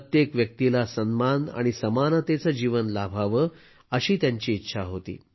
प्रत्येक व्यक्तीला सन्मान आणि समानतेचं जीवन लाभावं अशी त्यांची इच्छा होती